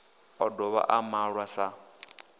o dovha a malwa sa